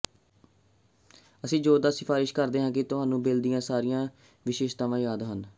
ਅਸੀਂ ਜ਼ੋਰਦਾਰ ਸਿਫਾਰਸ਼ ਕਰਦੇ ਹਾਂ ਕਿ ਤੁਹਾਨੂੰ ਬਿਲ ਦੀਆਂ ਸਾਰੀਆਂ ਵਿਸ਼ੇਸ਼ਤਾਵਾਂ ਯਾਦ ਹਨ